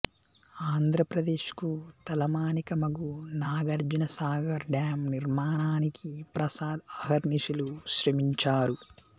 ఆంధ్రప్రదేశ్ కు తలమానికమగు నాగార్జున సాగర్ డాం నిర్మాణానికి ప్రసాద్ అహర్నిశలూ శ్రమించారు